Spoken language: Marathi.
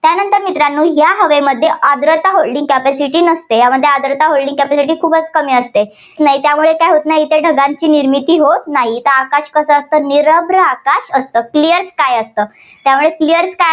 त्यानंतर मित्रांनो या हवेमध्ये आर्द्रता holding capacity नसते. यामध्ये आर्द्रता holding capacity खूपच कमी असते. नाही त्यामुळे काय होत नाही, ढगांची निर्मिती होत नाही. आकाश कसं निरभ्र आकाश असतं. clear sky असतं. त्यामुळे clear sky